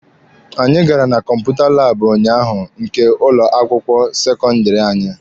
Anyị gara na kọmputa laabụ ụnyaahụ nke ụlọ akwụkwọ sekọndịrị anyị.